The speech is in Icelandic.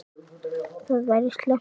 Það væri slæmt, ef